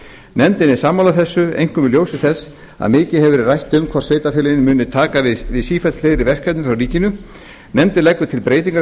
nefndin er sammála þessu einkum í ljósi þess að mikið hefur verið rætt um hvort sveitarfélögin muni taka við sífellt fleiri verkefnum af ríkinu nefndin leggur til breytingu á